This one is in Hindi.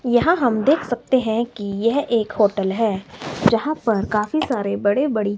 यहां हम देख सकते हैं कि यह एक होटल है यहां पर काफी सारे बड़े बड़े--